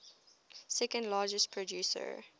second largest producer